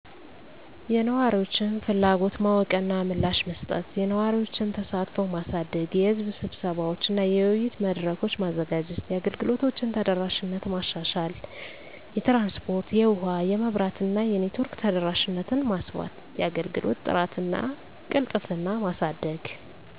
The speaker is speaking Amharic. *የነዋሪዎችን ፍላጎት ማወቅ እና ምላሽ መስጠት፦ *የነዋሪዎችን ተሳትፎ ማሳደግ * የሕዝብ ስብሰባዎች እና የውይይት መድረኮች: ማዘጋጀት። * የአገልግሎቶችን ተደራሽነት ማሻሻል * የትራንስፖርት *የውሀ *የመብራት እና የኔትወርክ ተደራሽነትን ማስፋት፤ * የአገልግሎት ጥራት እና ቅልጥፍና ማሳደግ